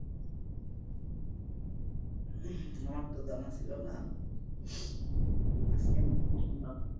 আমার তো জানা ছিলো না আজকে নতুন শুনলাম,